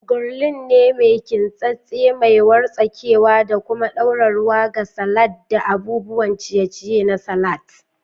Gwurli ne mai kintsattse, mai wartsakewa, da kuma ɗora ruwa ga salads da abubuwan ciye-ciye na salat